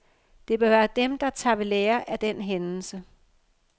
Det bør være dem, der tager ved lære af den hændelse.